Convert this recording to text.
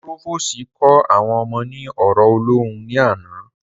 Púròfòsì kó àwọn ọmọ ní ọ̀rọ̀ ọlọ́hun ní àná